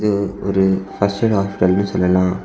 இது ஒரு first aid ஹாஸ்பிட்டல்னு சொல்லலாம்.